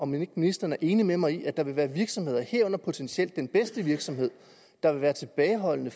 ministeren er enig med mig i at der vil være virksomheder herunder potentielt den bedste virksomhed der vil være tilbageholdende